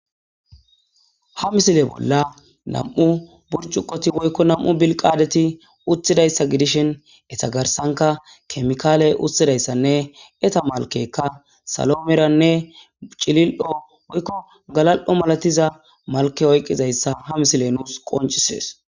ha misile bolla nam7u burcuqoti woykko nam7u bilqaadeti utthidayssa gidishin etagarsanka kemikaaley uttidayssanne eta malkekka salomeranne cilil7o woykko galal7o malatiza malke oykqizayssa ha misile nuus qoncisees